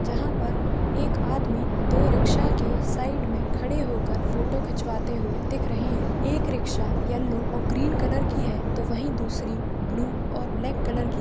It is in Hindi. जहाँ पर एक आदमी दो रिक्शा के साइड में खड़े होकर फोटो खिंचवाते हुए दिख रहे हैं एक रिक्शा येलो और ग्रीन कलर की है तो वहीं दूसरी ब्लू और ब्लैक कलर की।